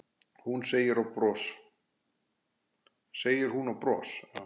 segir hún og bros